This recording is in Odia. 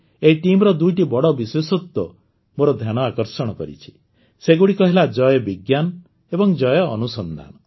ଏହି ଟିମ୍ର ଦୁଇଟି ବଡ଼ ବିଶେଷତ୍ୱ ମୋର ଧ୍ୟାନ ଆକର୍ଷଣ କରିଛି ସେଗୁଡ଼ିକ ହେଲା ଜୟ ବିଜ୍ଞାନ ଏବଂ ଜୟ ଅନୁସନ୍ଧାନ